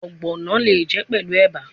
Ogbono le je pelu eba